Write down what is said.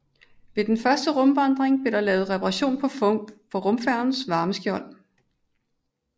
Ved den første rumvandring blev der lavet reparation på rumfærgens varmeskjold